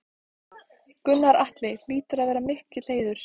Gunnar Atli: Hlýtur að vera mikill heiður?